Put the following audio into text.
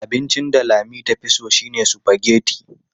Abincin da Lami tafi so shine sufageti.